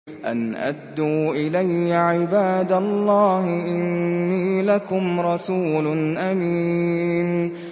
أَنْ أَدُّوا إِلَيَّ عِبَادَ اللَّهِ ۖ إِنِّي لَكُمْ رَسُولٌ أَمِينٌ